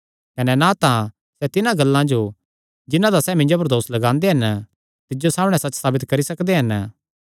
कने ना तां सैह़ तिन्हां गल्लां जो जिन्हां दा सैह़ मिन्जो पर दोस लगांदे हन तिज्जो सामणै सच्च साबित करी सकदे हन